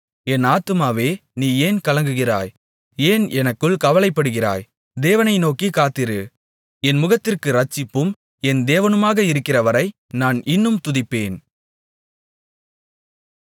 என் ஆத்துமாவே நீ ஏன் கலங்குகிறாய் ஏன் எனக்குள் கவலைப்படுகிறாய் தேவனை நோக்கிக் காத்திரு என் முகத்திற்கு இரட்சிப்பும் என் தேவனுமாக இருக்கிறவரை நான் இன்னும் துதிப்பேன்